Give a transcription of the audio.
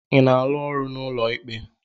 Ị na-arụ n'ụlọ ikpe?